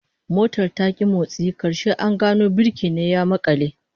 Motar ta ki motsi, karshe an gano birki ne ya makale